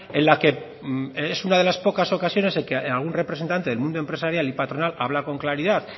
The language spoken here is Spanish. en la que es una de las pocas ocasiones en que algún representante del mundo empresarial y patronal habla con claridad